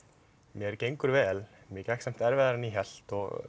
mér gengur vel mér gekk samt erfiðar en ég hélt og